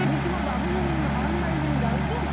ଦିଦି ତମର୍ ବାବୁ ଜେନ୍ ଅଙ୍ଗେନବାଡି ଜେନ୍ ଯାଉଛେ।